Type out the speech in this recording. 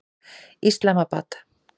Islamabad